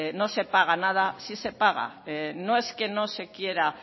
no se paga nada sí se paga no es que no se quiera